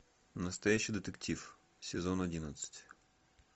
настоящий детектив сезон одиннадцать